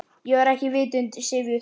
Ég var ekki vitund syfjuð.